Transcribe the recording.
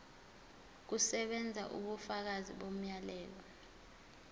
kusebenza ubufakazi bomyalelo